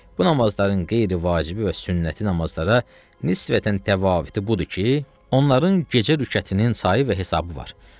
Bu namazların qeyri-vacibi və sünnəti namazlara nisbətən təfavütü budur ki, onların gecə rükətinin sayı və hesabı var.